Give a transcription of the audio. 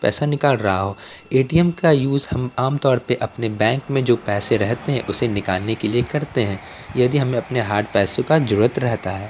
पैसा निकाल रहा हो ए_टी_एम का यूज हम आमतौर पे अपने बैंक में जो पैसे रहते हैं उसे निकालने के लिए करते हैं यदि हमें अपने हार्ड पैसों का जरूरत रहता है।